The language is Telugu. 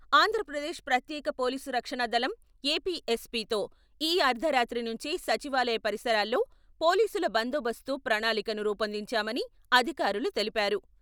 ఆంధ్రప్రదేశ్ ప్రత్యేక పోలీసు రక్షణ దళం, ఏపీఎస్పీతో ఈ అర్ధరాత్రి నుంచే సచివాలయ పరిసరాల్లో పోలీసుల బందోబస్తు ప్రణాళికను రూపొందించామని అధికారులు తెలిపారు.